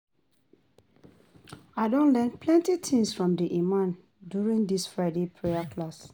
I don learn plenty things from the imam during di Friday prayer class.